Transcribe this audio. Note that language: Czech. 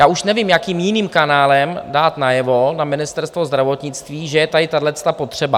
Já už nevím, jakým jiným kanálem dát najevo na Ministerstvo zdravotnictví, že je tady tahleta potřeba.